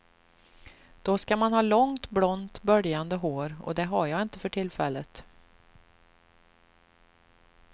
Då ska man ha långt blont böljande hår och det har jag inte för tillfället.